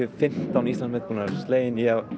fimmtán Íslandsmet slegin